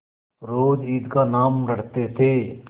रोज ईद का नाम रटते थे